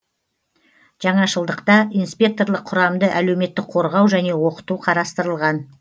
жаңашылдықта инспекторлық құрамды әлеуметтік қорғау және оқыту қарастырылған